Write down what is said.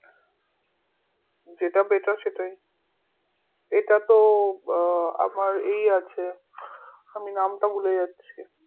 যেটা better সেটাই এটাতো আহ আমার এই আছে আমি নামটা ভুলে যাচ্ছি